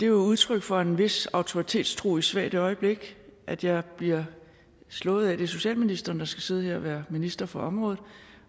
jo udtryk for en vis autoritetstro i et svagt øjeblik at jeg bliver slået af at det er socialministeren der skal sidde her og være minister for området